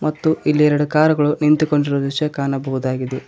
ಮತ್ತು ಇಲ್ಲಿ ಎರಡು ಕಾರ್ ಗಳು ನಿಂತುಕೊಂಡಿರುವ ದೃಶ್ಯ ಕಾಣಬಹುದಾಗಿದೆ.